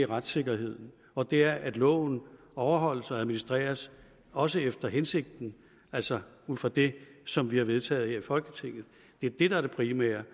retssikkerheden og det er at loven overholdes og administreres også efter hensigten altså ud fra det som vi har vedtaget her i folketinget det er det der er det primære